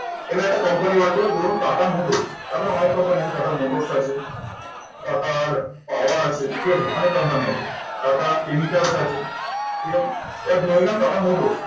এনার একটা company বের করলো ধরুন টাটা মোটরস, তারপর অনেক company আছে, টাটা মোটরস আছে, টাটা পাওয়ার আছে, ঠিক আছে অনেক company আছে, টাটা কেমিক্যালস আছে। এবার ধরে নিলাম টাটা মোটরস